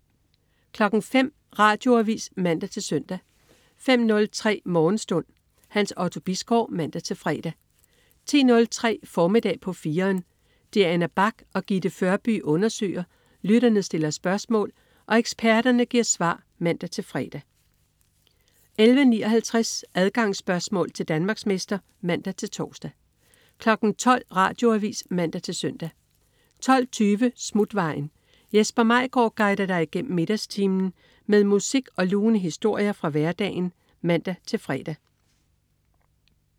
05.00 Radioavis (man-søn) 05.03 Morgenstund. Hans Otto Bisgaard (man-fre) 10.03 Formiddag på 4'eren. Diana Bach og Gitte Førby undersøger, lytterne stiller spørgsmål og eksperterne giver svar (man-fre) 11.59 Adgangsspørgsmål til Danmarksmester (man-tors) 12.00 Radioavis (man-søn) 12.20 Smutvejen. Jesper Maigaard guider dig igennem middagstimen med musik og lune historier fra hverdagen (man-fre)